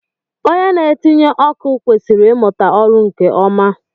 Onye na-etinye ọkụ kwesịrị imuta ọrụ nke ọma